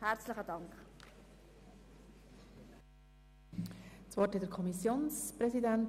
Für die FiKo-Mehrheit spricht der Kommissionspräsident.